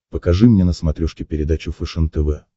покажи мне на смотрешке передачу фэшен тв